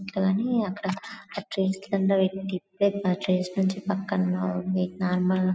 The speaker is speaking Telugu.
కానీ అక్కడ ఆ ట్రీస్ క్రింద పాటి ట్రీస్ పక్కన నార్మల్